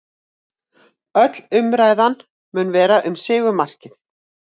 Öll umræðan mun verða um sigurmarkið